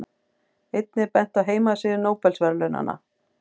Einnig er bent á heimasíðu Nóbelsverðlaunanna.